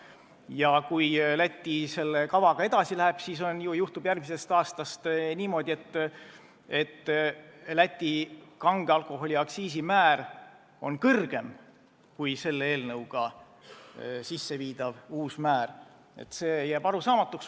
Ja kui Läti selle kavaga edasi läheb, siis juhtub järgmisest aastast niimoodi, et Läti kange alkoholi aktiisimäär on kõrgem kui meie eelnõu kohaselt kehtestatav määr.